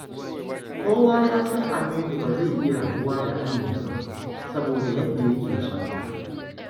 Kowa ya san Aminu ba zai iya rabuwa da Amina ba, saboda yadda yake sonta.